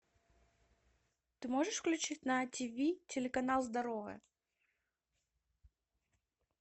ты можешь включить на тиви телеканал здоровое